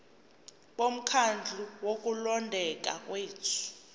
bomkhandlu wokulondeka kwethu